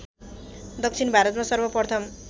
दक्षिण भारतमा सर्वप्रथम